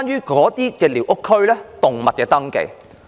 第一，是寮屋區內的動物登記。